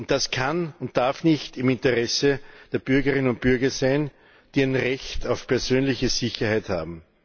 Das kann und darf nicht im Interesse der Bürgerinnen und Bürger sein, die ein Recht auf persönliche Sicherheit haben.